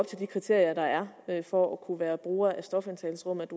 til de kriterier der er for at kunne være bruger af stofindtagelsesrummet